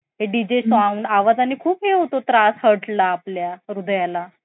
त्यांचे पण short class असतेत